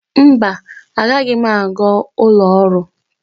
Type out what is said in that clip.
Mba, agaghị m aga ụlọ ọrụ.